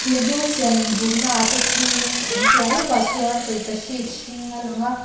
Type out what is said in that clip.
thîr hmanga siam inbûknaah te ṭhuin a piah lawkah chuan tawlhpahrit hring a lang a.